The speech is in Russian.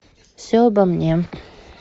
все обо мне